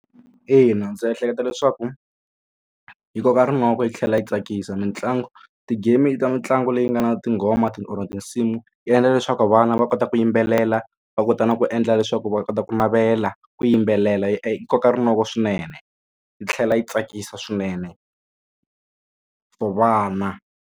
Ina ndzi ehleketa leswaku yi koka rinoko yi tlhela yi tsakisa mitlangu ti-game ta mitlangu leyi nga na tinghoma or tinsimu yi endla leswaku vana va kota ku yima tlhelela va kota na ku endla leswaku va kota ku navela ku yimbelela yi koka rinoko swinene yi tlhela yi tsakisa swinene for vana.